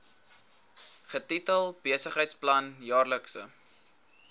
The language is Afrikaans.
getitel besigheidsplan jaarlikse